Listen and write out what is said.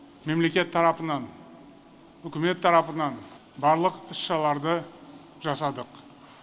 мемлекет тарапынан үкімет тарапынан барлық іс шараларды жасадық